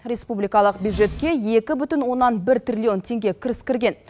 республикалық бюджетке екі бүтін оннан бір триллион кіріс кірген